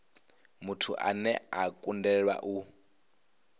muthu ane a kundelwa u